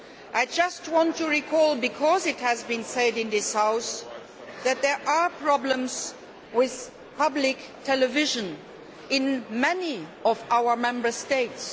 I just want to recall this, because it has been said in this House that there are problems with public television in many of our Member States.